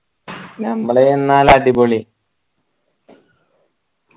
നമ്മള് ചെന്നാൽ അടിപൊളി